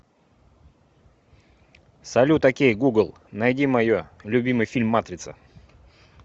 салют окей гугл найди мое любимый фильм матрица